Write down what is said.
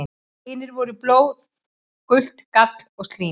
Hinir voru blóð, gult gall og slím.